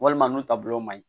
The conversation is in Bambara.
Walima nun taabolo man ɲi